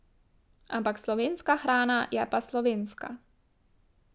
Ampak slovenska hrana je pa slovenska.